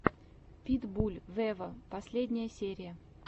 питбуль вево последняя серия